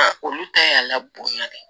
A olu ta y'a la bonya de ye